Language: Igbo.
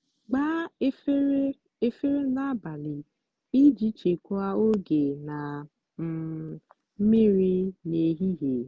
gbaa efere efere n'abalị iji chekwaa oge na um mmiri n'ehihie.